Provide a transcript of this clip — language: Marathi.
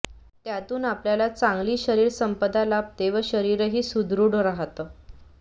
त्यातून आपल्याला चांगली शरीरसंपदा लाभते व शरीरही सुदृढ राहतं